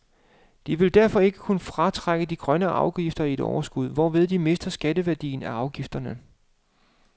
De vil derfor ikke kunne fratrække de grønne afgifter i et overskud, hvorved de mister skatteværdien af afgifterne.